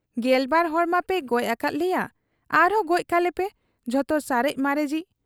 ᱜᱮᱞᱵᱟᱨ ᱦᱚᱲ ᱢᱟᱯᱮ ᱜᱚᱡ ᱟᱠᱟᱫ ᱞᱮᱭᱟ, ᱟᱨᱦᱚᱸ ᱜᱚᱡ ᱠᱟᱞᱮᱯᱮ ᱡᱚᱛᱚ ᱥᱟᱨᱮᱡ ᱢᱟᱨᱮᱡᱤᱡ ᱾